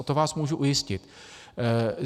O tom vás můžu ujistit.